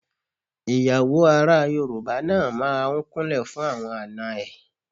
Ìyàwó ará Yorùbá náà máa ń kúnlẹ̀ fún àwọn àna ẹ̀.